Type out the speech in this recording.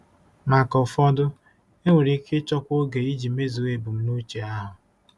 Maka ụfọdụ, enwere ike ịchọkwu oge iji mezuo ebumnuche ahụ.